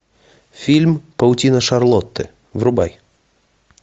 фильм паутина шарлотты врубай